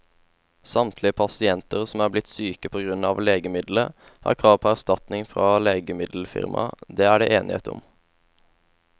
Samtlige pasienter som er blitt syke på grunn av legemiddelet, har krav på erstatning fra legemiddelfirmaet, det er det enighet om.